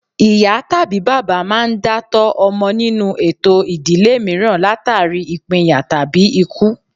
Ìyá tàbí bàbá máa ń dá tọ́ ọmọ nínú ètò ìdílé mìíràn látàrí ìpínyà tàbí ikú